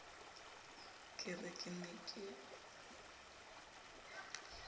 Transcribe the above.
ke re ke ne ke